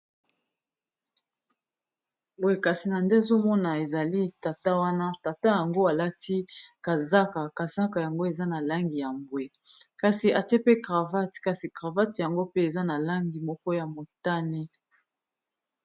Boye kasi na nde azomona ezali tata wana, tata yango alati kazaka, kazaka yango eza na langi ya mbwe kasi atie pe cravate, kasi cravate yango pe eza na langi moko ya motane.